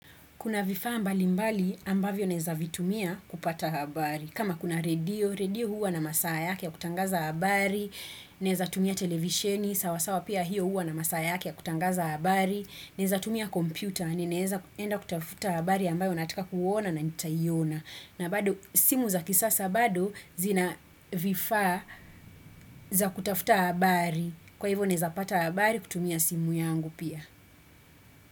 Kuna vifaa mbali mbali ambavyo naweza vitumia kupata habari. Kama kuna redio, redio huwa na masaa yake ya kutangaza habari. Naweza tumia televisheni, sawasawa pia huwa na masaa yake ya kutangaza habari. Naweza tumia kompyuta, ninaweza enda kutafuta habari ambayo nataka kuona na nitaiona. Na bado simu za kisasa bado zina vifaa za kutafuta habari. Kwa hivyo naweza pata habari kutumia simu yangu pia.